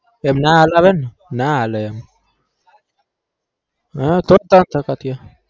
એમ ના હલાવેને ના ના હાલે એમ